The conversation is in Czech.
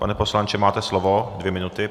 Pane poslanče, máte slovo, dvě minuty.